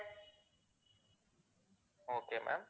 okay ma'am